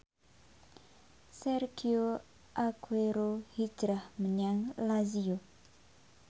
Sergio Aguero hijrah menyang Lazio